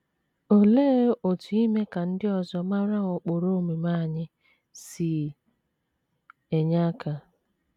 Olee otú ime ka ndị ọzọ mara ụkpụrụ omume anyị si enye aka?